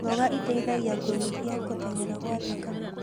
Mmboga itaithagia kũnyihia gũtengera kwa thakame